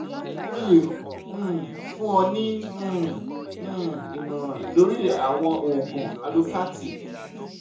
mo le um fun ọ ni um um imọran lori awọn oogun alopathy